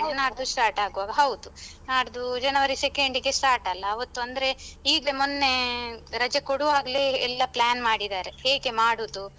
ನಾಡ್ದು start ಆಗುವಾಗ ಹೌದು. ನಾಡ್ದು ಜನವರಿ second ಗೆ start ಅಲ್ಲ ಆವತ್ತು ಅಂದ್ರೆ ಈಗ್ಲೆ ಮೊನ್ನೆ ರಜೆ ಕೊಡುವಾಗ್ಲೆ ಎಲ್ಲ plan ಮಾಡಿದ್ದಾರೆ ಹೇಗೆ ಮಾಡುದು.